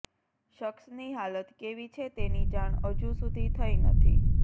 શખ્સની હાલત કેવી છે તેની જાણ હજુ સુધી થઈ નથી